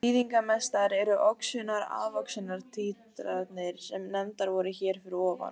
Þýðingarmestar eru oxunar-afoxunar títranir sem nefndar voru hér fyrir ofan.